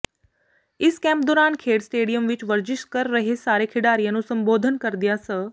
ਇਸ ਕੈਂਪ ਦੌਰਾਨ ਖੇਡ ਸਟੇਡੀਅਮ ਵਿੱਚ ਵਰਜਿਸ਼ ਕਰ ਰਹੇ ਸਾਰੇ ਖਿਡਾਰੀਆਂ ਨੂੰ ਸੰਬੋਧਨ ਕਰਦਿਆਂ ਸ